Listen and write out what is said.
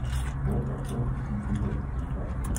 ооо сити мед на карте